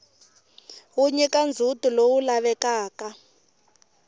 wu nyika ndzhutilowu lavekaka